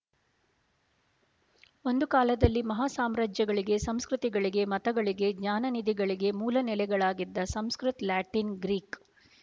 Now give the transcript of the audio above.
ಒಂದು ಕಾಲದಲ್ಲಿ ಮಹಾ ಸಾಮ್ರಾಜ್ಯಗಳಿಗೆ ಸಂಸ್ಕೃತಿ ಗಳಿಗೆ ಮತಗಳಿಗೆ ಜ್ಞಾನನಿಧಿಗಳಿಗೆ ಮೂಲ ನೆಲೆಗಳಾಗಿದ್ದ ಸಂಸ್ಕೃತ ಲ್ಯಾಟಿನ್ ಗ್ರೀಕ್